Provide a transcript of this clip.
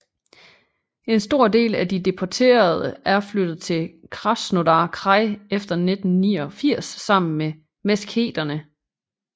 En stor del af de deporterede er flyttet til Krasnodar kraj efter 1989 sammen med Meskheterne